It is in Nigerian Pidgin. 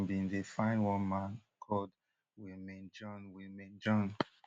um police um say dem bin dey find one man called willmane jean willmane jean